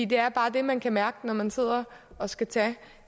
det er bare det man kan mærke når man sidder og skal tage